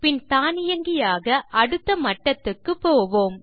பின் தானியங்கியாக அடுத்த மட்டத்துக்கு போவோம்